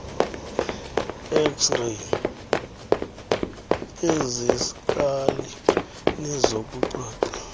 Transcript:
xray eziskali nezokucoca